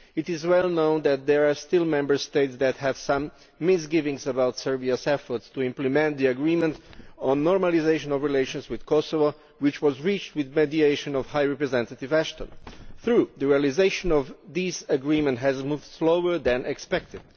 It is well known that there are still Member States that have some misgivings about Serbia's efforts to implement the agreement on normalisation of relations with Kosovo, which was reached with the mediation of High Representative Vice President Ashton. True, the realisation of this agreement has moved slower than expected.